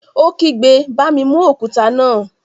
Ó kígbe, "Bá mi mú òkúta náà!"